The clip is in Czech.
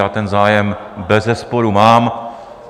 Já ten zájem bezesporu mám.